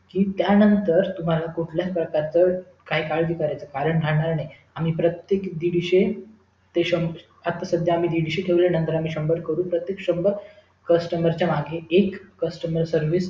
कि त्यानंतर तुम्हला कुठलायच प्रकारच काही काळजी करायची कारण राहणार नाही आम्ही प्रत्येक enteri विषयी आता आम्ही सध्या दीडशे ठेवले आहे नंतर आम्ही शम्भर करू तर ते शम्भर customer च्या मागे एक customer service